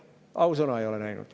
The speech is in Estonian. Ausõna, ei ole näinud.